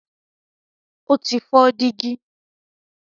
ó ti fọ́ dígí.